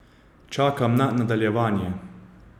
Čakam na nadaljevanje!